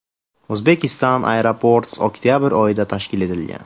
Uzbekistan Airports oktabr oyida tashkil etilgan.